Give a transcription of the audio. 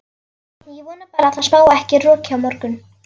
Ég vona bara að það spái ekki roki á morgun.